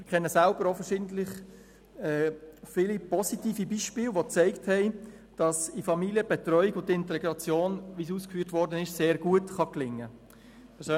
Ich kenne selber auch viele verschiedene positive Beispiele, die gezeigt haben, dass in Familien die Betreuung und Integration – wie dies ausgeführt worden ist – sehr gut gelingen kann.